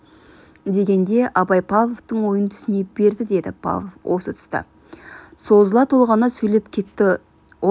дегенде абай павловтың ойын түсіне берді деді павлов осы тұста созыла толғана сөйлеп кетті ол біздің